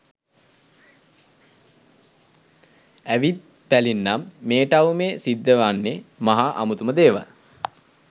ඇවිත් බැලින්නම් මේ ටවුමේ සිද්ධ වෙන්නේ මහා අමුතුම දේවල්